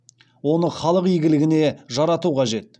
оны халық игілігіне жарату қажет